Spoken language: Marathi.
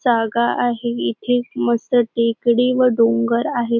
जागा आहे इथे मस्त टेकडी व डोंगर आहे.